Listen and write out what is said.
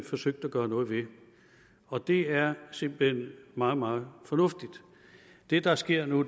forsøgt at gøre noget ved og det er simpelt hen meget meget fornuftigt det der sker nu